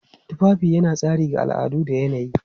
Tufafi yana tasiri ga al'adu da yanayi.